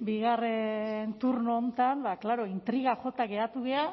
bigarren turno honetan ba klaro intriga jota geratu gera